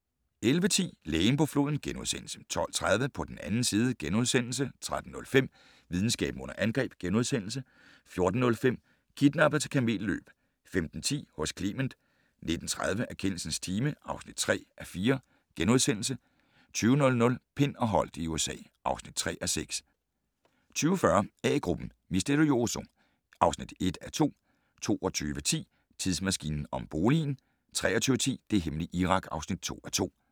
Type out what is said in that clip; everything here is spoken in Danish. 11:10: Lægen på floden * 12:30: På den 2. side * 13:05: Videnskaben under angreb * 14:05: Kidnappet til kamelløb 15:10: Hos Clement 19:30: Erkendelsens time (3:4)* 20:00: Pind og Holdt i USA (3:6) 20:40: A-gruppen: Misterioso (1:2) 22:10: Tidsmaskinen om boligen 23:10: Det hemmelige Irak (2:2)